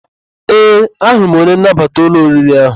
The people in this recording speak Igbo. Ee, ahụrụ m onye nnabata ụlọ oriri ahụ.